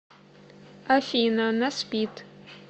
афина она спит